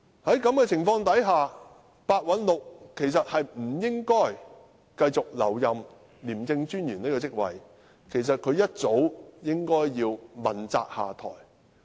在這情況下，白韞六其實不應繼續留任廉政專員這職位，一早應該要問責下台。